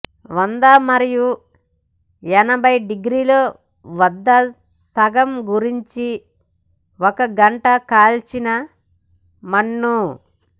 వంద మరియు ఎనభై డిగ్రీల వద్ద సగం గురించి ఒక గంట కాల్చిన మన్నా